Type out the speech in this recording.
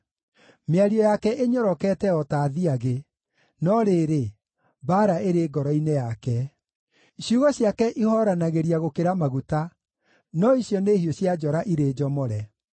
Mĩario yake ĩnyorokete o ta thiagĩ, no rĩrĩ, mbaara ĩrĩ ngoro-inĩ yake; ciugo ciake ihooranagĩria gũkĩra maguta, no icio nĩ hiũ cia njora irĩ njomore.